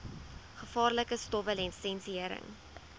gevaarlike stowwe lisensiëring